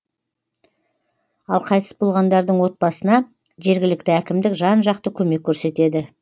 ал қайтыс болғандардың отбасына жергілікті әкімдік жан жақты көмек көрсетеді